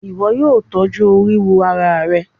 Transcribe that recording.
Ìwo yio tọ́jú oríwó ara rẹ